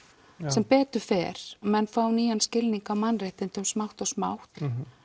sem betur fer menn fá nýjan skilning á mannréttindum smátt og smátt